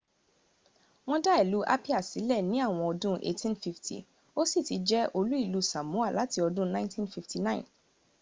wọ́n dá ìlú apia sílẹ̀ ní àwọn ọdún 1850 ó sì ti jẹ̀ olú ìlú samoa láti ọdún 1959